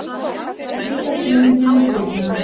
Lýsa stuðningi við stjórnina